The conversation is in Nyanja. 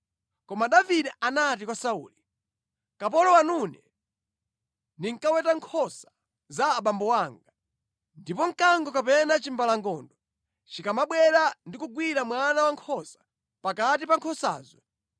Koma Davide anati kwa Sauli, “Kapolo wanune ndinkaweta nkhosa za abambo anga. Ndipo mkango kapena chimbalangondo chikamabwera ndi kugwira mwana wankhosa pakati pa nkhosazo,